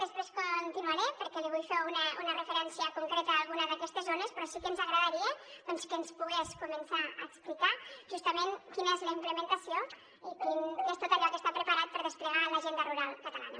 després continuaré perquè li vull fer una referència concreta a alguna d’aquestes zones però sí que ens agradaria doncs que ens pogués començar a explicar justament quina és la implementació i què és tot allò que està preparat per desplegar l’agenda rural catalana